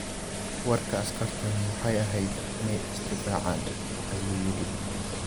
Warka Askarteenu waxay ahayd inay is-difaacaan, ayuu yidhi.